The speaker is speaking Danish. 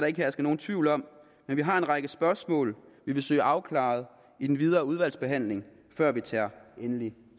ikke herske nogen tvivl om men vi har en række spørgsmål vi vil søge afklaret i den videre udvalgsbehandling før vi tager endelig